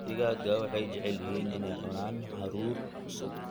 Digaagga waxay jecel yihiin inay cunaan hadhuudh cusub.